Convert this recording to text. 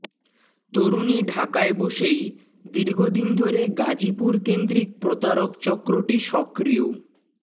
তরুণী ঢাকায় বসেই দীর্ঘদিন ধরে গাজীপুরকেন্দ্রিক প্রতারক চক্রটি সক্রিয়